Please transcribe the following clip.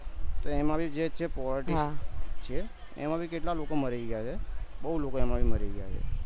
તો એમાં ભી જે છે politics છે એમાં ભી કેટલા લોકો મરી ગયા છે બૌ લોકો એમાં મારી ગયા છે